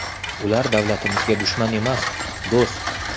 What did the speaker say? Ular davlatimizga dushman emas, do‘st.